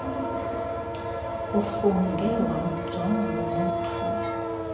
ufungie wamjonga ngomothuko